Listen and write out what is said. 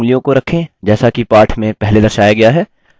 अब typing शुरू करें